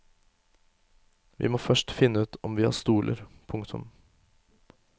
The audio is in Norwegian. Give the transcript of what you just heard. Vi må først finne ut om vi har stoler. punktum